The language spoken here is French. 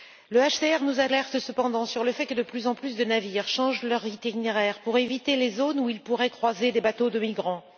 Le HCR nous alerte cependant sur le fait que de plus en plus de navires changent leur itinéraire pour éviter les zones où ils pourraient croiser des bateaux de migrants.